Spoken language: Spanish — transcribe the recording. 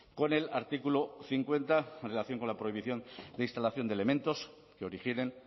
con el artículo cincuenta en relación con la prohibición de instalación de elementos que originen